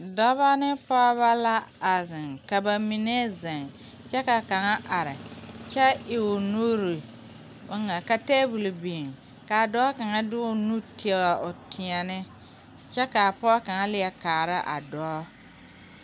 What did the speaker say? Dɔba ne pɔgeba la a zeŋ ka ba mine zeŋ kyɛ kaŋa are kyɛ e o nuure bon ŋa a taabol biŋ kaa dɔɔ kaŋa de o nu tie o teɛne kyɛ kaa pɔge kaŋa leɛ kaara a dɔɔ